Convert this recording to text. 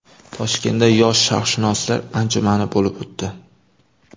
Toshkentda yosh sharqshunoslar anjumani bo‘lib o‘tdi.